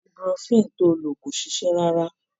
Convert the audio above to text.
Ibuprofen ti o lò ò ṣiṣẹ́ rárá.